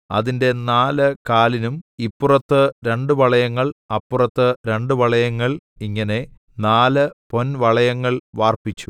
അതിന്റെ നാല് കാലിനും ഇപ്പുറത്ത് രണ്ട് വളയങ്ങൾ അപ്പുറത്ത് രണ്ട് വളയങ്ങൾ ഇങ്ങനെ നാല് പൊൻവളയങ്ങൾ വാർപ്പിച്ചു